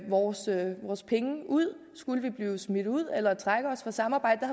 vores penge ud hvis skulle blive smidt ud eller trække os fra samarbejdet